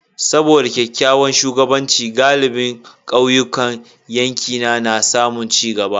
Saboda kyakkyawan shugabanci, galibin kauyukan yankina na samun ci gaba.